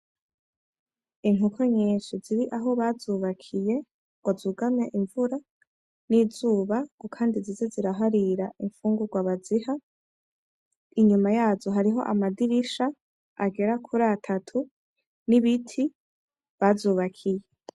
Inkoko nyinshi ziri aho bazubakiye kugira zugame imvura n'izuba ngo kandi zize ziraharira imfungugwa baziha inyuma yazo hariho amadirisha agera kuri atatu n'ibiti bazubakiye.